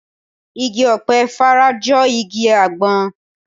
Igi ọ̀pẹ fara jọ igi àgbọn